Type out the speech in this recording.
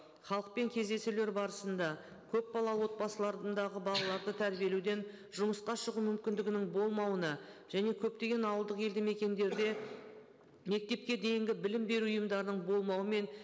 халықпен кездесулер барысында көп бала отбасыларындағы балаларды тәрбиелеуден жұмысқа шығу мүмкіндігінің болмауына және көптеген ауылдық елді мекендерде мектепке дейінгі білім беру ұйымдарының болмауы мен